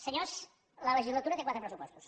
senyors la legislatura té quatre pressupostos